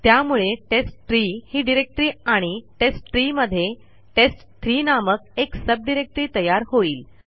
त्यामुळे टेस्टट्री ही डिरेक्टरी आणि टेस्टट्री मध्ये टेस्ट3 नामक एक सब डिरेक्टरी तयार होईल